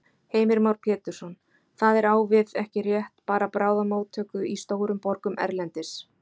Heimir Már Pétursson: Það er á við, ekki rétt, bara bráðamóttöku í stórum borgum erlendis?